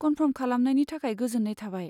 Confirm खालामनायनि थाखाय गोजोन्नाय थाबाय।